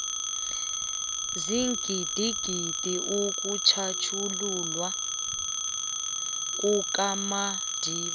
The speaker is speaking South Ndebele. sigidinga ukutjhatjhululwa kukamadiba